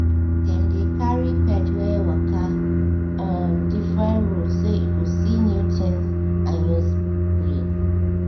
dem dey carry the pet waka um different road so e go see new things and use brain